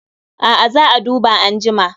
A'a, za a duba anjima